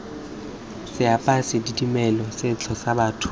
seapesa dimela setso sa batho